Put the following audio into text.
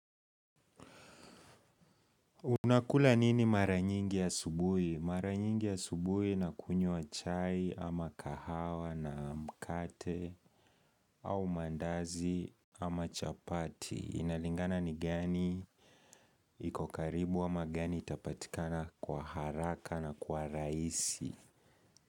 Unakula nini maranyingi ya asubui? Maranyingi ya asubui nakunyua chai, ama kahawa, na mkate, au mandazi, ama chapati. Inalingana ni gani, ikokaribu, ama gani itapatikana kwa haraka na kwa raisi.